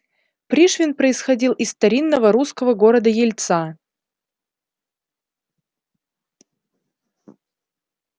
пришвин происходил из старинного русского города ельца